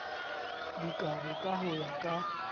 dikabo ka ho ya ka